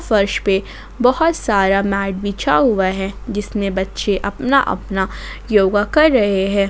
फर्श पे बहोत सारा मैट बिछा हुआ है जिसमें बच्चे अपना अपना योगा कर रहे हैं ।